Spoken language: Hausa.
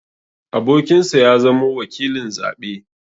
Abokinsa ya zamo wakilin zaɓe.